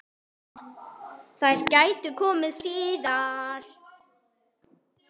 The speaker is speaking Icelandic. Þær gætu komið síðar.